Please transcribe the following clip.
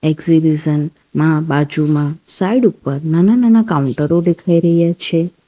Exhibition માં બાજુમાં side ઉપર નાના નાના કાઉન્ટરો દેખાઈ રહ્યા છે.